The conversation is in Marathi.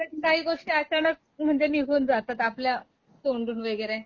कधी कधी काही गोष्टी अचानक म्हणजे निघून जातात आपल्या तोंडून वैगरे